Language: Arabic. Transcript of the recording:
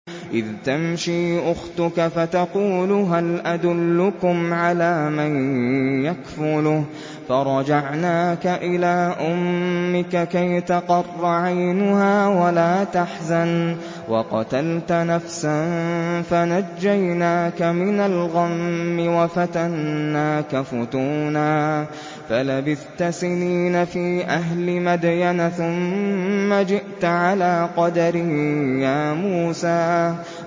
إِذْ تَمْشِي أُخْتُكَ فَتَقُولُ هَلْ أَدُلُّكُمْ عَلَىٰ مَن يَكْفُلُهُ ۖ فَرَجَعْنَاكَ إِلَىٰ أُمِّكَ كَيْ تَقَرَّ عَيْنُهَا وَلَا تَحْزَنَ ۚ وَقَتَلْتَ نَفْسًا فَنَجَّيْنَاكَ مِنَ الْغَمِّ وَفَتَنَّاكَ فُتُونًا ۚ فَلَبِثْتَ سِنِينَ فِي أَهْلِ مَدْيَنَ ثُمَّ جِئْتَ عَلَىٰ قَدَرٍ يَا مُوسَىٰ